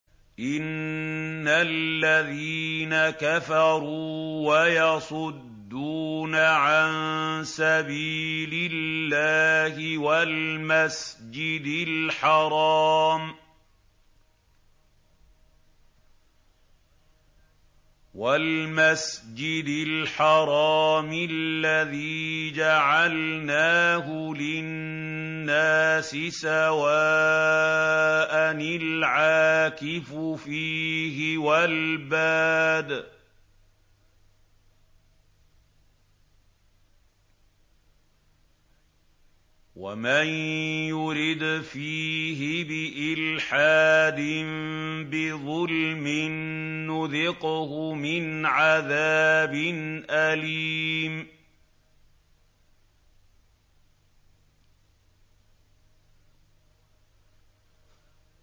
إِنَّ الَّذِينَ كَفَرُوا وَيَصُدُّونَ عَن سَبِيلِ اللَّهِ وَالْمَسْجِدِ الْحَرَامِ الَّذِي جَعَلْنَاهُ لِلنَّاسِ سَوَاءً الْعَاكِفُ فِيهِ وَالْبَادِ ۚ وَمَن يُرِدْ فِيهِ بِإِلْحَادٍ بِظُلْمٍ نُّذِقْهُ مِنْ عَذَابٍ أَلِيمٍ